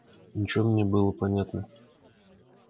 ничего мне было понятно